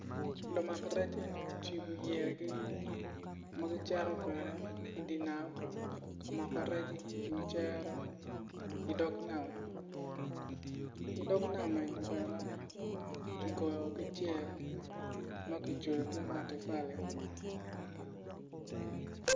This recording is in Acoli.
Lumak rec eni gucibo yeyagi ma gicito kwede idi nam ka mako rec iwi cere idog nam idog nam eni bene kigoyo ki cel ma kicweyo ki matafali.